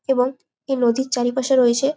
এবং এই নদীর চারিপাশে রয়েছে--